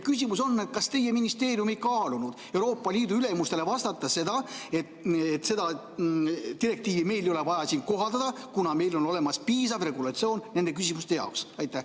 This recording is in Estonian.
Küsimus on: kas teie ministeerium ei kaalunud Euroopa Liidu ülemustele vastata, et seda direktiivi meil ei ole vaja siin kohaldada, kuna meil on olemas piisav regulatsioon nende küsimuste jaoks?